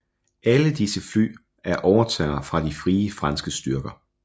Alle disse fly er overtager fra de Frie Franske styrker